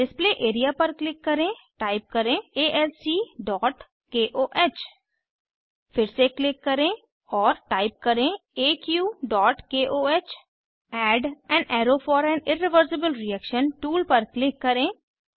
display area पर click करेंटाइप करें alcकोह फिर से क्लिक करें और टाइप करें aqकोह add an arrow for an irreversible reaction tool पर क्लिक करें